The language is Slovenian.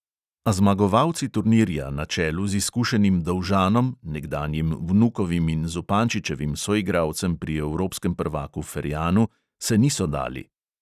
A zmagovalci turnirja, na čelu z izkušenim dolžanom, nekdanjim vnukovim in zupančičevim soigralcem pri evropskem prvaku ferjanu, se niso dali.